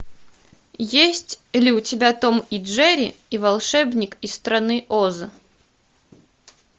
есть ли у тебя том и джерри и волшебник из страны оз